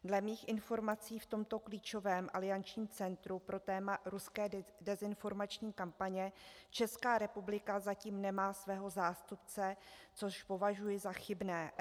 Dle mých informací v tomto klíčovém aliančním centru pro téma ruské dezinformační kampaně Česká republika zatím nemá svého zástupce, což považuji za chybné.